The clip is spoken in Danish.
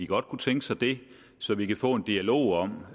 godt kunne tænke sig det så vi kan få en dialog om